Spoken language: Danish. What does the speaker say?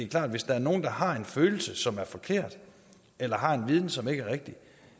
klart at hvis der er nogle der har en følelse som er forkert eller har en viden som ikke er rigtig